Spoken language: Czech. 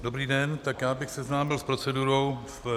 Dobrý den, tak já bych seznámil s procedurou.